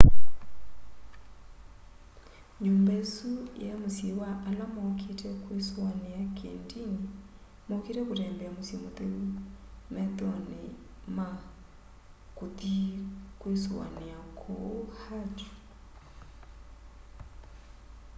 nyumba isu yai musyi wa ala maukite kwisuaniaki ndini maukite kutembea musyi mutheu methoni ma kuthi kwisoania kuu hajj